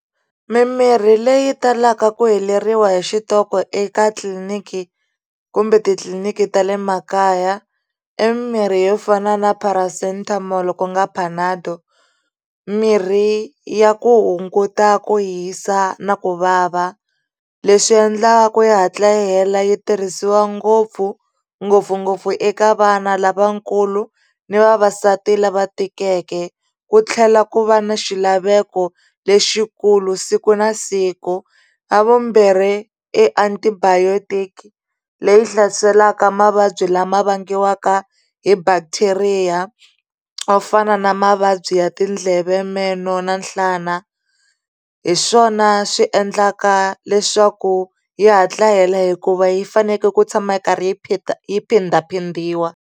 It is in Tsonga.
Mimirhi leyi talaka ku heleriwa hi xitoko eka tliliniki kumbe titliliniki ta le makaya i mirhi yo fana na Paracetamol ku nga panado mirhi ya ku hunguta ku hisa na ku vava leswi endlaka ku yi hatla yi hela yi tirhisiwa ngopfu ngopfungopfu eka vana lavakulu ni vavasati lava tikeke ku tlhela ku va na xilaveko lexikulu siku na siku ra vumbirhi i antibiotic leyi hlaselaka mavabyi lama vangiwaka hi bacteria swo fana na mavabyi ya tindleve meno na nhlana hi swona swi endlaka leswaku yi hatla yi hela hikuva yi fanekele ku tshama yi karhi yi phindaphindiwa.